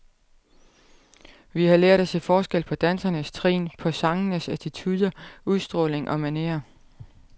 Vi har lært at se forskel på dansernes trin, på sangernes attituder, udstråling og manerer.